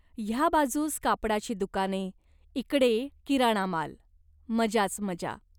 ह्या बाजूस कापडाची दुकाने, इकडे किराणा माल. मजाच मजा.